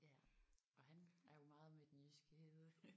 Ja og han er jo meget med den jyske hede